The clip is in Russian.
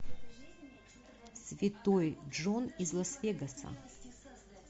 святой джон из лас вегаса